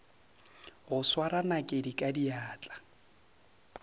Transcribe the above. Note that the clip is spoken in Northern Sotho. go swara nakedi ka diatla